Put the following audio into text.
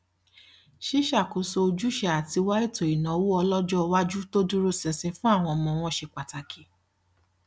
ṣíṣàkóso ojúṣe àti wá ètò ìnáwó ọlọjọwájú tó dúró sinsin fún àwọn ọmọ wọn se pataki